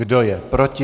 Kdo je proti?